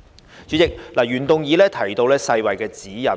代理主席，原議案提到世界衞生組織的指引，